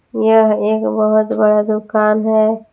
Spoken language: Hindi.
यह एक बहोत बड़ा दुकान है।